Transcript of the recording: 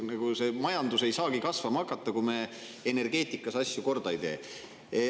Ja majandus ei saagi kasvama hakata, kui me energeetikas asju korda ei tee.